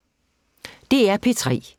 DR P3